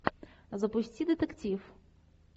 запусти детектив